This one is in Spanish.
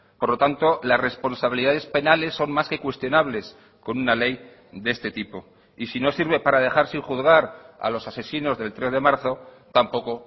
por lo tanto las responsabilidades penales son más que cuestionables con una ley de este tipo y si no sirve para dejar sin juzgar a los asesinos del tres de marzo tampoco